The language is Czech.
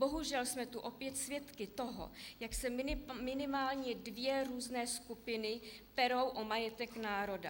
Bohužel jsme tu opět svědky toho, jak se minimálně dvě různé skupiny perou o majetek národa.